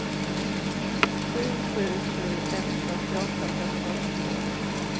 sju sju sju ett fyrtioåtta femhundraåttiotvå